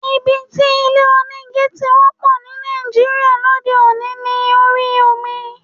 Ibi tí ilé onígi ti wọ́pọ̀ ní Nàìjíríà lóde òní ni orí omi.